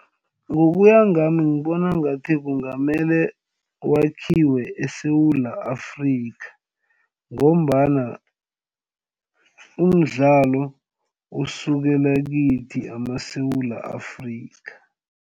Ngokuya ngami ngibona ngathi kungamele wakhiwe eSewula Afrika ngombana umdlalo usukela kithi amaSewula Afrika.